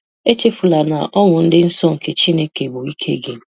Echefula na ọṅụ dị nsọ nke Chineke bụ ike gị!